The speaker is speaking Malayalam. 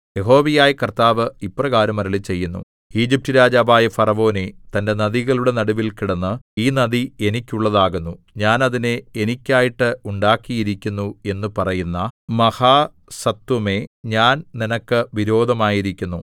യഹോവയായ കർത്താവ് ഇപ്രകാരം അരുളിച്ചെയ്യുന്നു ഈജിപ്റ്റ് രാജാവായ ഫറവോനേ തന്റെ നദികളുടെ നടുവിൽ കിടന്ന് ഈ നദി എനിക്കുള്ളതാകുന്നു ഞാൻ അതിനെ എനിക്കായിട്ട് ഉണ്ടാക്കിയിരിക്കുന്നു എന്നു പറയുന്ന മഹാസത്വമേ ഞാൻ നിനക്ക് വിരോധമായിരിക്കുന്നു